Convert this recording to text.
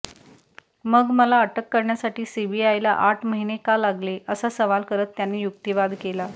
मग मला अटक करण्यासाठी सीबीआयला आठ महिने का लागले असा सवाल करत त्याने युक्तीवाद केला